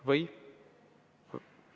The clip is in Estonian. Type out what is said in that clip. Või?